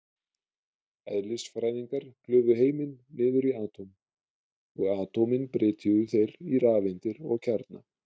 Eðlisfræðingar klufu heiminn niður í atóm, og atómin brytjuðu þeir í rafeindir og kjarna.